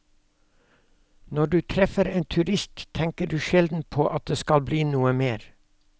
Når du treffer en turist, tenker du sjelden på at det skal bli noe mer.